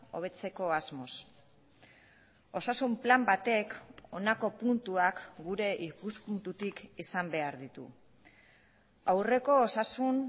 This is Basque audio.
hobetzeko asmoz osasun plan batek honako puntuak gure ikuspuntutik izan behar ditu aurreko osasun